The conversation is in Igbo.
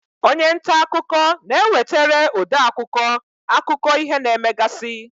Onye nta akụkọ na-ewetere ode akụkọ, akụkọ ihe na-emegasị.